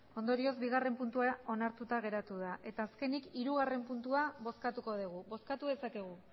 ondorioz bigarren puntua onartuta geratu da eta azkenik hirugarren puntua bozkatuko dugu bozkatu dezakegu